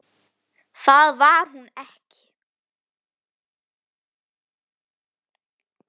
Það var ekki hún.